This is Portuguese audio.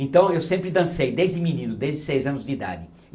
Então, eu sempre dancei, desde menino, desde seis anos de idade.